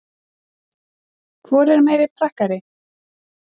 Hvor er meiri prakkari?